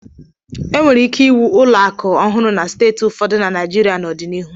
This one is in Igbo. E nwere ike ịwụ ụlọakụ ọhụrụ na steeti ụfọdụ na Naịjirịa n'ọdịnihu